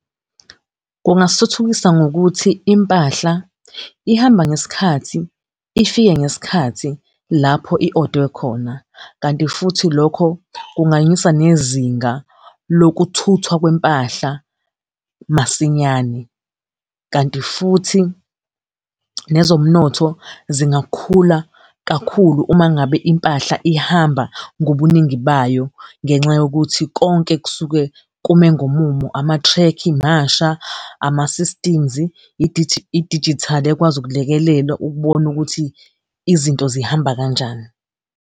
Kungasithuthukisa ngokuthi impahla ihamba ngesikhathi, ifike ngesikhathi, lapho i-odwe khona. Kanti futhi lokho kunganyusa nezinga lokuthuthwa kwempahla masinyane, kanti futhi nezomnotho zingakhula kakhulu, uma ngabe impahla ihamba ngobuningi bayo, ngenxa yokuthi konke kusuke kume ngomumo, ama-track masha, ama-systems, idijithali ekwazi ukulekelela ukubona ukuthi izinto zihamba kanjani.